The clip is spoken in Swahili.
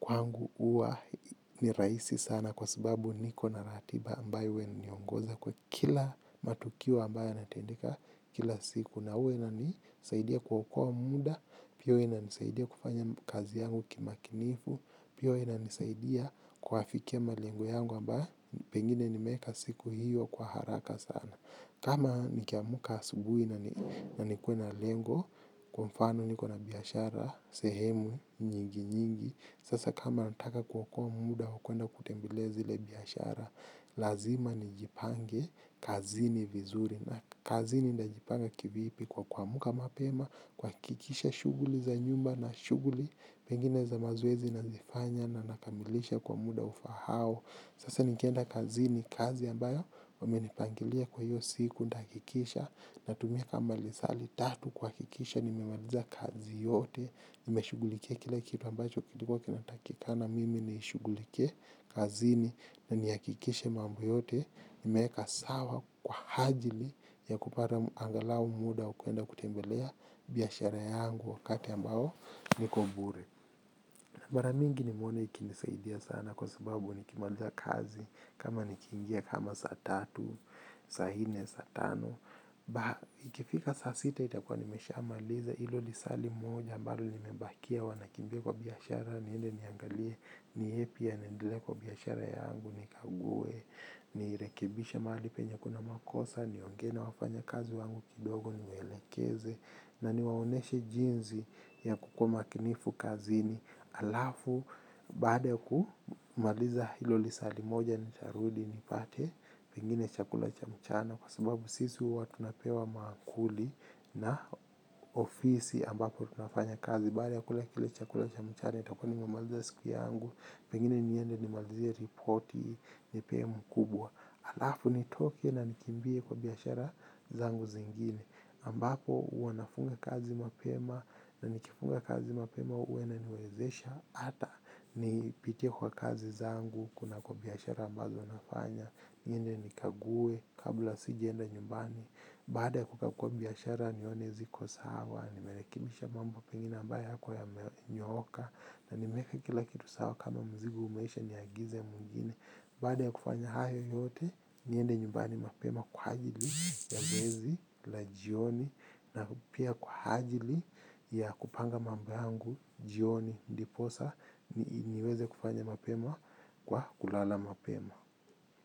kwangu uwa ni raisi sana kwa sababu niko na ratiba ambayo huwa inaniongoza kwa kila matukio ambayo yanatendika. Kila siku na ua na nisaidia kuokoa muda pia ua ina nisaidia kufanya kazi yangu kimakinifu pia ua ina nisaidia kuafikia malengo yangu amba pengine nimeeka siku hiyo kwa haraka sana kama nkiamuka asubui na nikue na lengo kwa mfano niko na biashara, sehemu, nyingi nyingi sasa kama nataka kuokoa muda wa kwenda kutembelea zile biashara lazima nijipange kazini vizuri na kazini ndajipanga kivipi kwa kuamuka mapema kuwakikisha shuguli za nyumba na shuguli pengine za mazoezi nazifanya na nakamilisha kwa muda ufa hao sasa nikienda kazini kazi ambayo wamenipangilia kwa hiyo siku ndakikisha natumia kama lisaa litatu kuwakikisha nimemaliza kazi yote nimeshugulikia kila kitu ambacho kilikuwa kinatakikana mimi nishugulikie kazini. Na nihakikishe mambo yote. Imeka sawa kwa hajili ya kupara angalau muda ukwenda kutembelea biashara yangu wakati ambao niko bure. Mara mingi nimeona ikinisaidia sana kwa sababu nikimaliza kazi kama nikiingia kama saa tatu saa nne saa tano. Ikifika saa sita itakuwa nimesha maliza. Ilo lisaa limoja ambalo limembakia huwa nakimbia kwa biashara. Niende niangalie ni yepi yanaendele kwa biashara yangu nikague ni rekebisha mali penye kuna makosa ni ongena wafanya kazi wangu kidogo niwelekeze na niwaoneshe jinzi ya kukuma kinifu kazini alafu baada kumaliza hilo lisali moja ni tarudi nipate pengine chakula cha mchana kwa sababu sisi huwa tunapewa maakuli na ofisi ambapo tunafanya kazi baada ya kula kile chakula cha mchana nitakuwa nimemaliza siku yangu. Pengine niende nimalizie reporti nipee mkubwa. Alafu nitoke na nikimbie kwa biashara zangu zingine ambapo huwa nafunga kazi mapema na nikifunga kazi mapema huwa inaniwezesha hata nipitie kwa kazi zangu kunako biashara ambazo nafanya niende nikague kabla sijaenda nyumbani. Baada ya kugakuwa biashara nionezi kwa sawa. Nimelekimisha mambo pengina ambaye kwa ya menyoka na nimeka kila kitu sawa kama mzigu umeisha niagize mungine baada ya kufanya hayo yote niende nyumbani mapema kwa hajili ya zoezi la jioni na pia kwa hajili ya kupanga mamboangu jioni ndiposa niweze kufanya mapema kwa kulala mapema.